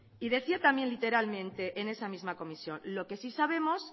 y decía también literalmente en esa misma comisión lo que sí sabemos